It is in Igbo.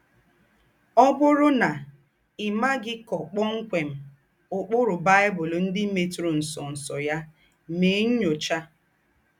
Ọ̀ bụ́rù ná í mághì kọ̀pọ̀mkwèm úkpùrù Baị́bụ̀l ńdị́ métùrà ńsọ̀nsọ̀ yà, mèè nnyóchà.